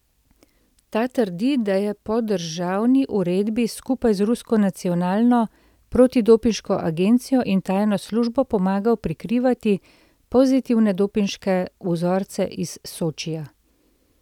Ta trdi, da je po državni odredbi skupaj s rusko nacionalno protidopinško agencijo in tajno službo pomagal prikrivati pozitivne dopinške vzorce iz Sočija.